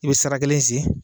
I be sara kelen sen